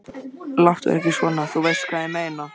Láttu ekki svona. þú veist hvað ég meina.